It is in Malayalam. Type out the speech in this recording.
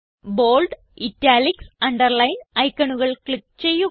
ബോൾഡ് ഇറ്റാലിക്സ് അണ്ടർലൈൻ ഐക്കണുകൾ ക്ലിക്ക് ചെയ്യുക